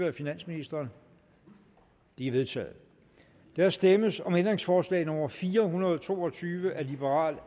af finansministeren de er vedtaget der stemmes om ændringsforslag nummer fire hundrede og to og tyve af